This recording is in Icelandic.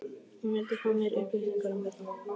hún vildi fá meiri upplýsingar um þetta allt.